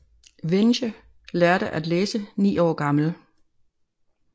Vinje lærte at læse ni år gammel